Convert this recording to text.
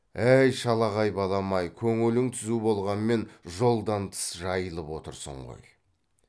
әй шалағай балам ай көңілің түзу болғанмен жолдан тыс жайылып отырсың ғой